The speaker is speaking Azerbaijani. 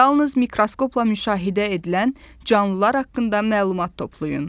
Yalnız mikroskopla müşahidə edilən canlılar haqqında məlumat toplayın.